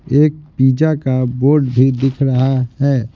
एक पिज़्ज़ा का बोर्ड भी दिख रहा है।